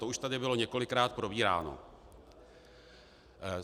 To už tady bylo několikrát probíráno.